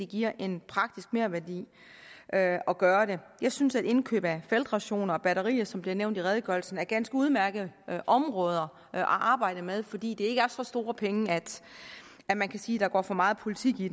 giver en merværdi at at gøre det jeg synes at indkøb af feltrationer og batterier som bliver nævnt i redegørelsen er ganske udmærkede områder at arbejde med fordi det ikke er så store penge at man kan sige at der går for meget politik i